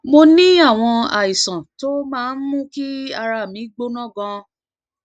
mo ní àwọn àìsàn tó máa ń mú kí ara mi mi gbóná ganan